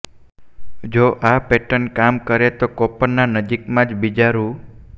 જો આ પેટર્ન કામ કરે તો કોપરમાં નજીકમાં જ બીજા રૂ